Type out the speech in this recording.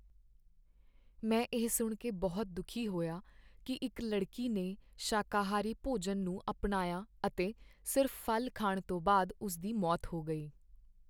ਮੈਂ ਇਹ ਸੁਣ ਕੇ ਬਹੁਤ ਦੁਖੀ ਹੋਇਆ ਕਿ ਇੱਕ ਲੜਕੀ ਨੇ ਸ਼ਾਕਾਹਾਰੀ ਭੋਜਨ ਨੂੰ ਅਪਣਾਇਆ ਅਤੇ ਸਿਰਫ਼ ਫ਼ਲ ਖਾਣ ਤੋਂ ਬਾਅਦ ਉਸ ਦੀ ਮੌਤ ਹੋ ਗਈ।